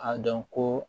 A dɔn ko